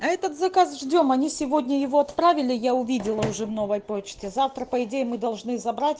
а этот заказ ждём они сегодня его отправили я увидела уже в новой почте завтра по идее мы должны забрать